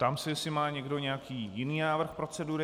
Ptám se, jestli má někdo nějaký jiný návrh procedury.